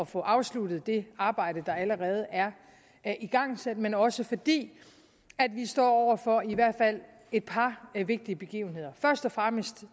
få afsluttet det arbejde der allerede er er igangsat men også fordi vi står over for i hvert fald et par vigtige begivenheder først og fremmest